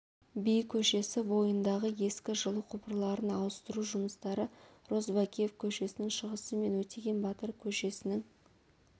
би көшесі бойындағы ескі жылу құбырларын ауыстыру жұмыстары розыбакиев көшесінің шығысы мен өтеген батыр көшесінің